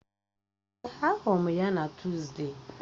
Èè, ahụrụ m ya na Tuzdee